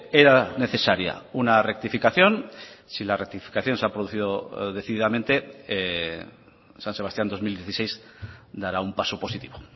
era necesaria una rectificación si la rectificación se ha producido decididamente san sebastián dos mil dieciséis dará un paso positivo